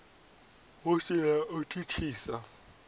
hu si na u thithisa